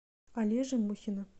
олежи мухина